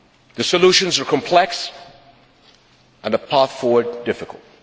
The solutions are complex and the path forward difficult.